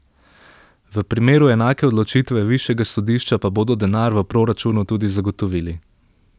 V primeru enake odločitve višjega sodišča pa bodo denar v proračunu tudi zagotovili.